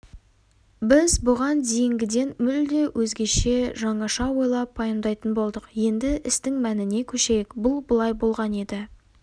біз бұған дейінгіден мүлде өзгеше жаңаша ойлап-пайымдайтын болдық енді істің мәніне көшейік бұл былай болған еді